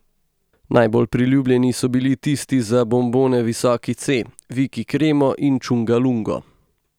Najbolj priljubljeni so bili tisti za bonbone Visoki C, Viki Kremo in Čunga Lungo.